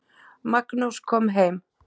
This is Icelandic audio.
Magnús kom heim.